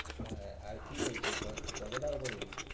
আহ আর কি বলছি? কত কত টাকা করে নিবি?